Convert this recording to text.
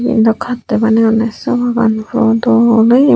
eyen dw kattoi baneyonney sopogaan puro dol oye.